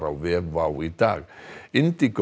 á vef WOW í dag